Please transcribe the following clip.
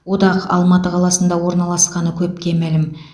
одақ алматы қаласында орналасқаны көпке мәлім